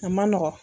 A man nɔgɔn